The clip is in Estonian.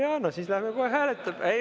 No siis läheme kohe hääletama ...